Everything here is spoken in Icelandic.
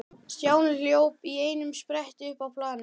Stjáni hljóp í einum spretti upp á planið.